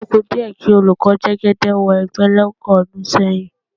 Ó kù díẹ̀ kí olùkọ́ Jẹ́gẹ́dẹ́ wẹ́gbẹ́ lọ́pọ̀ ọdún sẹ́yìn.